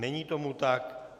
Není tomu tak.